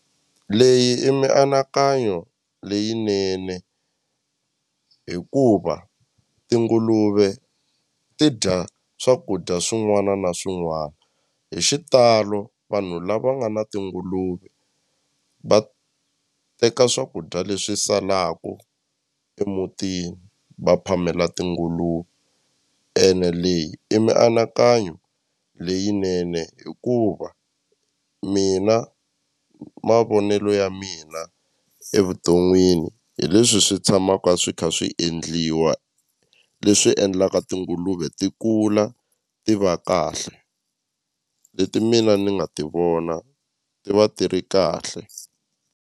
Leyi i mianakanyo leyinene hikuva tinguluve ti dya swakudya swin'wana na swin'wana hi xitalo vanhu lava nga na tinguluve va teka swakudya leswi salaku emutini va phamela tinguluve ene leyi i mianakanyo leyinene hikuva mina mavonelo ya mina evuton'wini hi leswi swi tshamaka swi kha swi endliwa leswi endlaka tinguluve ti kula ti va kahle leti mina ni nga ti vona ti va ti ri kahle.